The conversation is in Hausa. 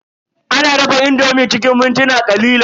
Ana dafa indomi cikin mintuna ƙalilan.